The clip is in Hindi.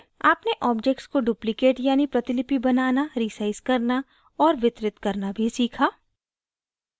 आपने objects को duplicate यानि प्रतिलिपि बनाना resize करना और वितरित करना भी सीखा